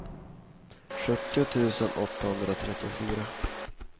sjuttio tusen åttahundratrettiofyra